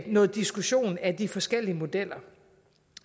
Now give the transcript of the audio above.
noget diskussion af de forskellige modeller